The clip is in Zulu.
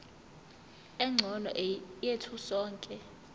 engcono yethu sonke